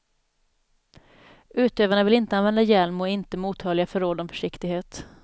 Utövarna vill inte använda hjälm och är inte mottagliga för råd om försiktighet.